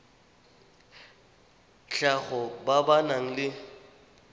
tlhago ba ba nang le